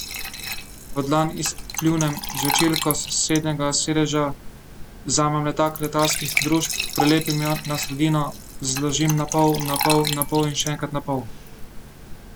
V dlan izpljunem žvečilko, s sosednjega sedeža vzamem letak letalskih družb, prilepim jo na sredino, zložim napol, napol, napol in še enkrat napol.